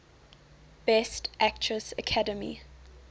best actress academy